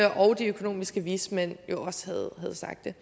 de økonomiske vismænd havde sagt det